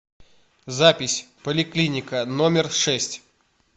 запись поликлиника номер шесть